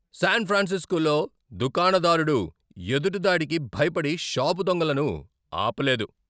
San ఫ్రాన్సిస్కోలో దుకాణదారుడు ఎదురుదాడికి భయపడి షాపు దొంగలను ఆపలేదు.